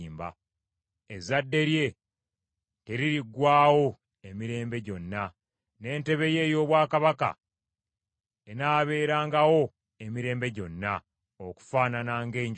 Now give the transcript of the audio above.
Ezzadde lye teririggwaawo emirembe gyonna; n’entebe ye ey’obwakabaka enaabeerangawo emirembe gyonna okufaanana ng’enjuba.